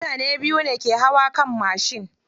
Mutane biyu ne ke hawa kan mashin.